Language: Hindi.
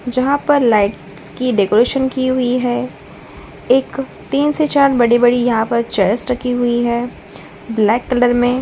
जहां पर लाइट्स की डेकोरेशन की हुई हैं। एक तीन से चार बड़ी-बड़ी यहाँ पर चेयर्स रखी हुई हैं। ब्लैक कलर में।